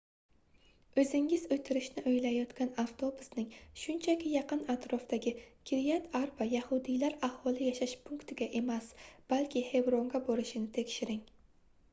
oʻzingiz oʻtirishni oʻylayotgan avtobusning shunchaki yaqin-atrofdagi kiryat arba yahudiylar aholi yashash punktiga emas balki xevronga borishini tekshiring